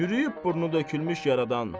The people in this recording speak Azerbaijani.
Çürüyüb, burnu tökülmüş yaradan.